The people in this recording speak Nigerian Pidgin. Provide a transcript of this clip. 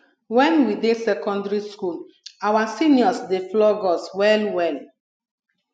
wen we dey secondary school our seniors dey flog us well well